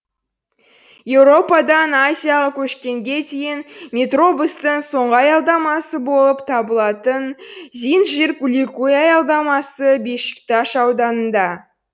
еуропадан азияға көшкенге дейін метробустың соңғы аялдамасы болып табылатын зинджирликуй аялдамасы бешикташ ауданында